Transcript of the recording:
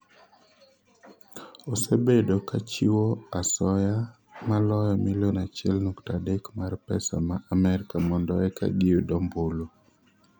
osebedo ka chiwo asoyo maloyo milion achiel nukta adek mar pesa ma Amerka mondo eka giyud ombulu